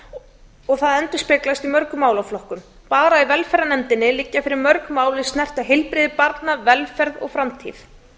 unglinga og það endurspeglast í mörgum málaflokkum bara í velferðarnefnd liggja fyrir mörg mál er snerta heilbrigði barna velferð og framtíð